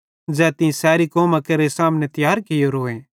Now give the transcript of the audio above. ज़ै तीं सैरी कौमां केरे सामने तियार कियोरोए